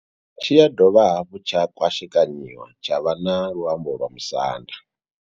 Tshi ya dovha hafhu tsha kwashekanyiwa tsha vha na luambo lwa Musanda.